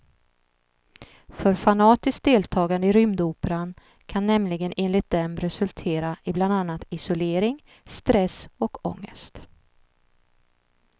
För fanatiskt deltagande i rymdoperan kan nämligen enligt dem resultera i bland annat isolering, stress och ångest.